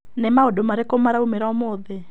Nĩ maũndũ marĩkũ maraumĩra ũmũthĩ?